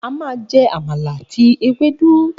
A máa jẹ Amala àti Ewédú.